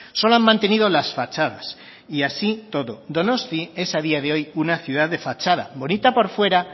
solo han mantenido las fachadas y así todo donostia es a día de hoy una ciudad de fachada bonita por fuera